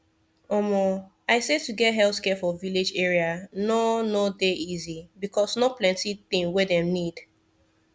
omo i say to get healthcare for village area no no dey easy because no plenti thing wey dem need